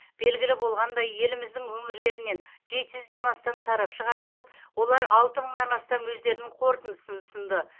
белгілі болғандай еліміздің өңірлерінен жеті жүзден астам сарапшы қатысып олар алты мыңнан астам өздерінің қорытындысын ұсынды